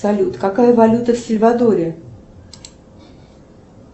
салют какая валюта в сальвадоре